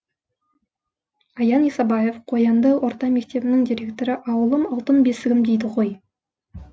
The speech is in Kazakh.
аян исабаев қоянды орта мектебінің директоры ауылым алтын бесігім дейді ғой